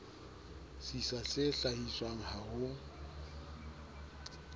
sisa se hlahiswang ha ho